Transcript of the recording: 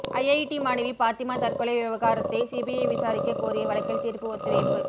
IIT மாணவி பாத்திமா தற்கொலை விவகாரத்தை சிபிஐ விசாரிக்க கோரிய வழக்கில் தீர்ப்பு ஒத்திவைப்பு